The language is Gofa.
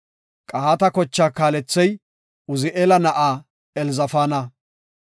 Qahaata kochaa kaalethey Uzi7eela na7aa Elzafaana.